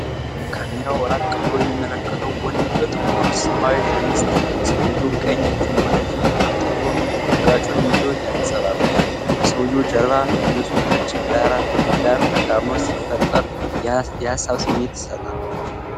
ካሜራው ራቅ ብሎ የሚመለከት ወንድ በጥቁር ሰማያዊ ሸሚዝ ይታያል። ሰውዬው ቀኝ እጁን ወደ ፊቱ አምጥቶ አገጩን ይዞ ያንጸባርቃል። የሰውዬው ጀርባ ከንጹሕ ነጭ ዳራ ጋር ተቃርኖ ሲፈጥር የሐሳብ ስሜት ይሰጣል።